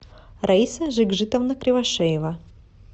раиса жикжитовна кривошеева